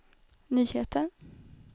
nyheter